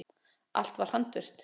Allt var handvirkt.